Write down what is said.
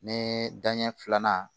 Ne dan ɲɛ filanan